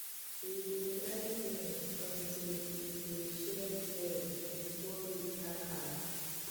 we dey dry beans until e dey shake well before we pack am